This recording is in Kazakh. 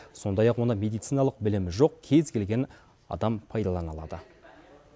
сондай ақ оны медициналық білімі жоқ кез келген адам пайдалана алады